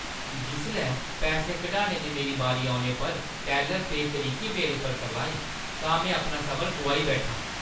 जिसलै पैसे कढाने दी मेरी बारी औने पर टैल्लर बेतरीकी मेरे पर करलाई तां अपना सबर गोआई बैठा।